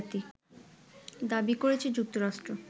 দাবি করেছে যুক্তরাষ্ট্র